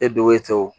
E donko e taw